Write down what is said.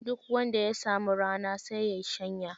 Duk wanda ya samu rana, sai ya yi shanya.